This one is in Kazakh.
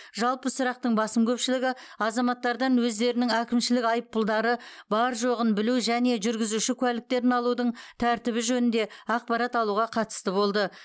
жалпы сұрақтың басым көпшілігі азаматтардан өздерінің әкімшілік айыппұлдары бар жоғын білу және жүргізуші куәліктерін алудың тәртібі жөнінде ақпарат алуға қатысты болды